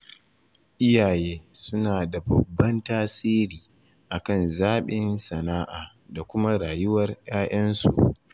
Iyaye suna da babban tasiri a kan zaɓin sana'a da kuma rayuwar 'ya'yansu